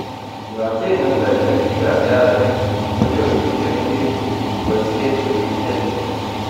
yo chenge kuraishek bikap siaset, konyoru biik chemengech boishiet korib ichek